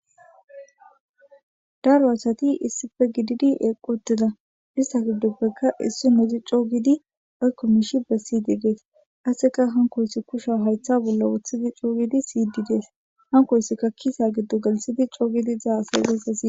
Daro asati issippe gidid eqi utida isata gidoppeka issinozi co giid woyko mishi besid des, qaseka hankoyis kusha haytha bolla wothid co giid siyid des, hankoysika kisa gido gelthid co gid izi hasa'izaysa siyid